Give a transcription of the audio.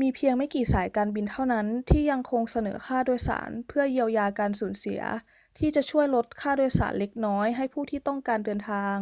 มีเพียงไม่กี่สายการบินเท่านั้นที่ยังคงเสนอค่าโดยสารเพื่อเยียวยาการสูญเสียที่จะช่วยลดค่าโดยสารเล็กน้อยให้ผู้ที่ต้องการเดินทาง